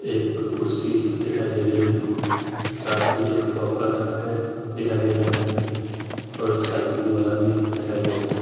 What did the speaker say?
एक कुर्सी दिखाई दे रही है साथ मे एक वाकर है। दिखाई दे रहा है और एक साइकिल वाला भी दिखाई दे रहा है।